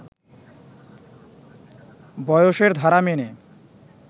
বয়সের ধারা মেনে